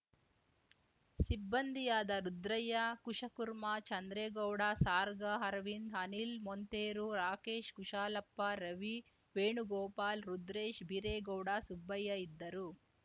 ಸಿಬ್ಬಂದಿಯಾದ ರುದ್ರಯ್ಯ ಕುಶಕುರ್ಮಾ ಚಂದ್ರೇಗೌಡ ಸಾರ್ಗಾ ಅರವಿಂದ್‌ ಅನಿಲ್‌ ಮೊಂತೆರೊ ರಾಕೇಶ್‌ ಕುಶಾಲಪ್ಪ ರವಿ ವೇಣುಗೋಪಾಲ್‌ ರುದ್ರೇಶ್‌ ಬೀರೇಗೌಡ ಸುಬ್ಬಯ್ಯ ಇದ್ದರು